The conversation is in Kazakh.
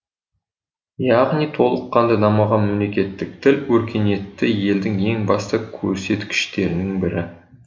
яғни толыққанды дамыған мемлекеттік тіл өркениетті елдің ең басты көрсеткіштерінің бірі